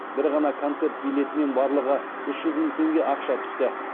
бір ғана концерт билетінен барлығы үш жүз мың теңге ақша түсті